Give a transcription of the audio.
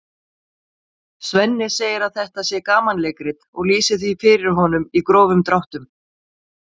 Svenni segir að þetta sé gamanleikrit og lýsir því fyrir honum í grófum dráttum.